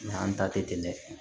Nka an ta tɛ tɛmɛ